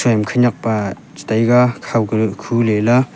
khanakpa chega khaw khu ley ya.